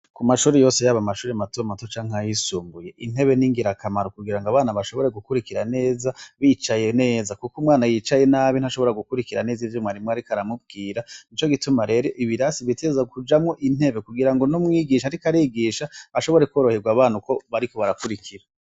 Ku mashuri yose yaba amashuri matomato canke ayisumbuye intebe ni ingirakamaro kugira ngo abana bashobore gukurikira neza bicaye neza, kuko umwana yicaye nabi ntashobora gukurikira neza ivyo mwarimu, ariko aramubwira nico gituma rero ibirasi biteza kujamwo intebe kugira ngo n'umwigisha ariko arigisha ashobore koroherwa abana uko bariko barakurikira.